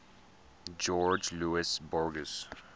jorge luis borges